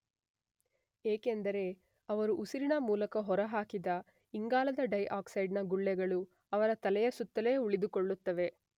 ಏಕೆಂದರೆ ಅವರು ಉಸಿರಿನ ಮೂಲಕ ಹೊರಹಾಕಿದ ಇಂಗಾಲದ ಡೈ ಆಕ್ಸೈಡ್ ನ ಗುಳ್ಳೆಗಳು ಅವರ ತಲೆಯ ಸುತ್ತಲೇ ಉಳಿದುಕೊಳ್ಳುತ್ತವೆ.